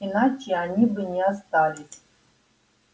иначе они бы не остались